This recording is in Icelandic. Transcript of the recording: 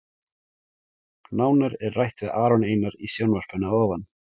Nánar er rætt við Aron Einar í sjónvarpinu að ofan.